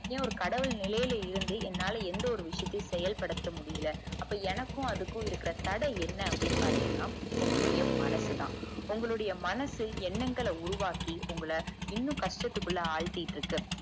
ஏன் ஒரு கடவுள் நிலைல இருந்து என்னால எந்த ஒரு விசயத்தையும் செயல்படுத்த முடியல அப்பா எனக்கும் அதுக்கும் உள்ள தட என்ன அப்புடின்னு பாத்தீங்கனா உங்கள்ளுடைய மனசு தான் உங்களுடைய மனசு என்னங்கள உருவாக்கி உங்கள இன்னும் கஷ்டத்துக்குள்ள ஆழ்த்திக்கிட்டுஇருக்கு